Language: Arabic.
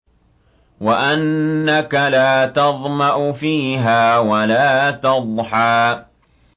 وَأَنَّكَ لَا تَظْمَأُ فِيهَا وَلَا تَضْحَىٰ